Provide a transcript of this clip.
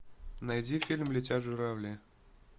найди фильм летят журавли